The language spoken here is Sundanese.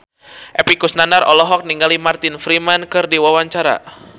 Epy Kusnandar olohok ningali Martin Freeman keur diwawancara